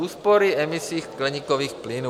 Úspory emisí skleníkových plynů.